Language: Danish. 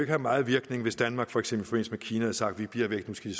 have meget virkning hvis danmark for eksempel i kina havde sagt vi bliver væk nu skal